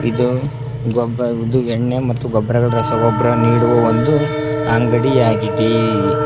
ಇದು ಗೊಬ್ಬ ಎಣ್ಣೆ ಮತ್ತು ಗೊಬ್ಬರಗ ರಸಗೊಬ್ಬರ ನೀಡುವ ಒಂದು ಅಂಗಡಿ ಆಗಿದೆ.